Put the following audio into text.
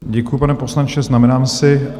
Děkuju, pane poslanče, znamenám si.